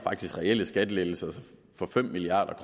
reelle skattelettelser for fem milliard